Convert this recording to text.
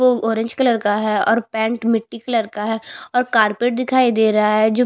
वो orange colour का है और पैंट मिट्टी कलर का है और कारपेट दिखाई दे रहा है जो --